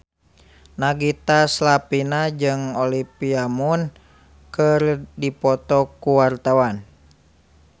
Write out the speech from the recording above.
Nagita Slavina jeung Olivia Munn keur dipoto ku wartawan